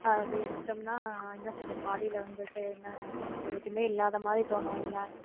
அதை எடுத்துட்டோம்னா என்ன சொல்றது body ல வந்துட்டு என்ன என்ன சொல்றது எதுவுமே இல்லாதமாதிரி தோணும்ல